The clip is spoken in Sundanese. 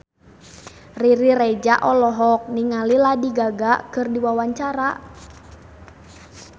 Riri Reza olohok ningali Lady Gaga keur diwawancara